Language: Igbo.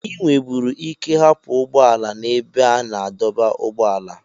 Ị nweburu ike hapụ ụgbọ ala n'ebe a na-adọba ụgbọala